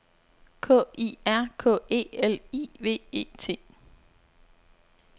K I R K E L I V E T